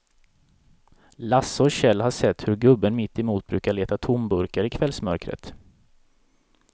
Lasse och Kjell har sett hur gubben mittemot brukar leta tomburkar i kvällsmörkret.